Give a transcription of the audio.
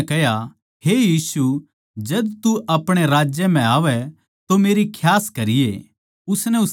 फेर उसनै कह्या हे यीशु जद तू अपणे राज्य म्ह आवै तो मेरी खियास करिये